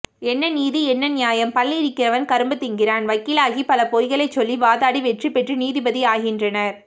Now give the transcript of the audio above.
என்ன நீதி என்னநியாயம் பல் இருக்கிறவன் கரும்புதிங்கிறான் வக்கீலாகிபலபொய்களைசொல்லி வாதாடிவெற்றிபெற்று நீதிபதி ஆகின்றனர்